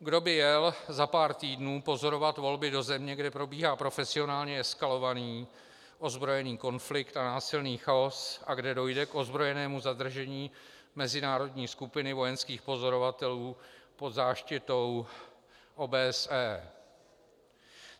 Kdo by jel za pár týdnů pozorovat volby do země, kde probíhá profesionálně eskalovaný ozbrojený konflikt a násilný chaos a kde dojde k ozbrojenému zadržení mezinárodní skupiny vojenských pozorovatelů pod záštitou OBSE?